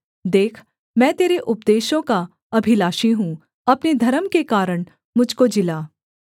देख मैं तेरे उपदेशों का अभिलाषी हूँ अपने धर्म के कारण मुझ को जिला